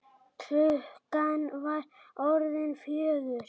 Klukkan var orðin fjögur.